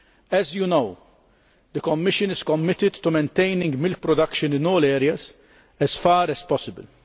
As you know, the Commission is committed to maintaining milk production in all areas as far as possible.